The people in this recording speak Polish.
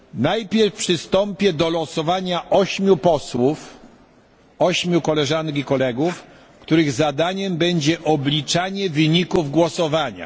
Najpierw przystąpię do losowania ośmiu posłów, ośmiu koleżanek i kolegów, których zadaniem będzie obliczanie wyników głosowania.